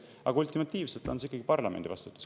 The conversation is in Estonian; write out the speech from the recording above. Aga ultimatiivselt on see ikkagi parlamendi vastutus.